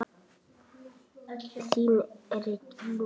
Þín Regína.